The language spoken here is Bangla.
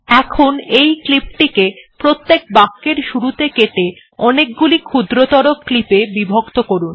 এখন এই ক্লিপ টিকে প্রত্যেক বাক্যের শুরুতে কেটে অনেকগুলি ক্ষুদ্রতর ক্লিপে বিভক্ত করুন